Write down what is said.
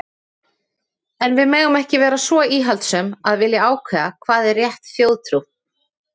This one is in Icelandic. En við megum ekki vera svo íhaldssöm að vilja ákveða hvað er rétt þjóðtrú.